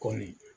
Kɔmi